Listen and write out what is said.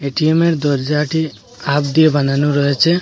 এটিএমের দরজাটি হাফ দিয়ে বানানো রয়েছে।